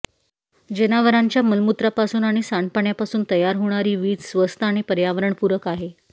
जनावरांच्या मलमूत्रापासून आणि सांडपाण्यापासून तयार होणारी वीज स्वस्त आणि पर्यावरणपूरक आहे